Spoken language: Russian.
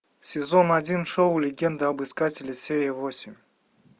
сезон один шоу легенда об искателе серия восемь